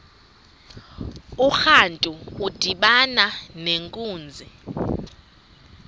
urantu udibana nenkunzi